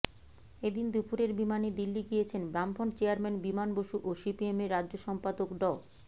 এদিন দুপুরের বিমানে দিল্লি গিয়েছেন বামফ্রন্ট চেয়ারম্যান বিমান বসু ও সিপিএমের রাজ্য সম্পাদক ড